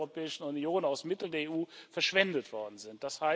Euro der Europäischen Union aus Mitteln der EU verschwendet worden sind.